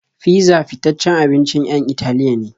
Fizza fitaccen abincin 'yan Italiya ne.